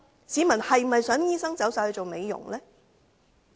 市民是否想醫生全部轉投美容業呢？